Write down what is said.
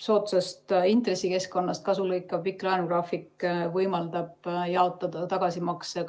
Soodsast intressikeskkonnast kasu lõikav pikk laenugraafik võimaldab jaotada tagasimakse